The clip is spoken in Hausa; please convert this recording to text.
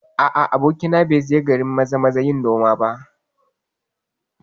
A'a, abokina bai je garin Maza-maza yin noma ba